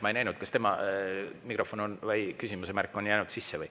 Ma ei näinud, kas tema küsimise on jäänud sisse.